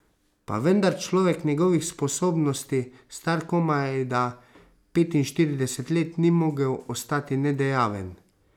Pa vendar človek njegovih spodobnosti, star komajda petinštirideset let, ni mogel ostati nedejaven.